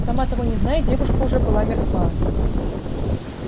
сама того не зная девушка уже была мертва